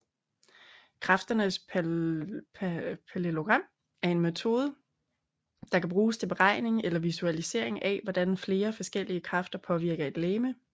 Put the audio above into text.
Kræfternes pallelogram er en metode der kan bruges til beregning eller visualisering af hvordan flere forskellige kræfter påvirker et legeme